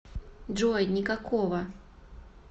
джой никакого